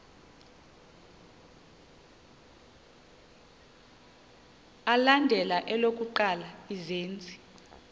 alandela elokuqala izenzi